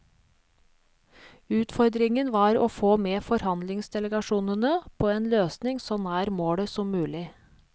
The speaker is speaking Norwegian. Utfordringen var å få med forhandlingsdelegasjonene på en løsning så nær målet som mulig.